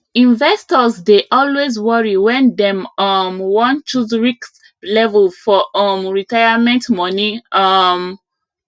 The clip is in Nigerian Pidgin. investors dey always worry when dem um wan choose risk level for um retirement money um